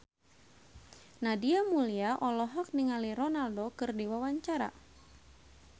Nadia Mulya olohok ningali Ronaldo keur diwawancara